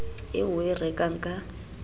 eo o e rekang ka